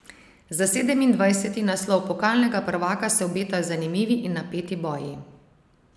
Za sedemindvajseti naslov pokalnega prvaka se obetajo zanimivi in napeti boji.